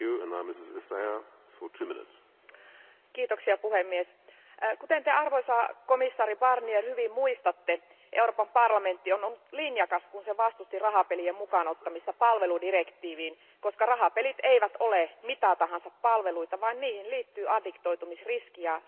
Arvoisa puhemies, kuten Te arvoisa komission jäsen Barnier hyvin muistatte, Euroopan parlamentti on ollut linjakas, kun se vastusti rahapelien mukaan ottamista palveludirektiiviin, koska rahapelit eivät ole mitä tahansa palveluita, vaan niihin liittyy addiktoitumisriski ja sen mukanaan tuomat sosiaaliset kustannukset.